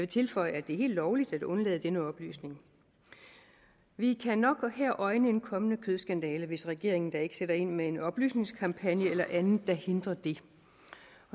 tilføje at det er helt lovligt at undlade denne oplysning vi kan nok her øjne en kommende kødskandale hvis regeringen da ikke sætter ind med en oplysningskampagne eller andet der hindrer det